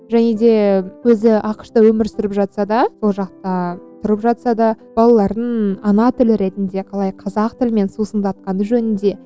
және де өзі ақш та өмір сүріп жатса да сол жақта тұрып жатса да балаларын ана тілі ретінде қалай қазақ тілімен сусындатқаны жөнінде